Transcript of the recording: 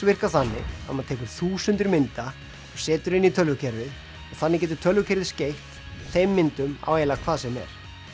virka þannig að maður tekur þúsundir mynda og setur inn í tölvukerfið þannig getur tölvukerfið skeytt þeim myndum á eiginlega hvað sem er